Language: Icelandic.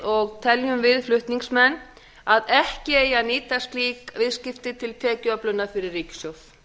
og teljum við flutningsmenn að ekki eigi að nýta slík viðskipti til tekjuöflunar fyrir ríkissjóð